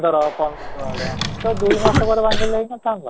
ପନ୍ଦର ପନ୍ଦର ଆଡେ ତ ଦୁଇ ମାସ ପରେ ଭାଙ୍ଗି ଥିଲେ ହେଇ ନ ଥାନ୍ତା?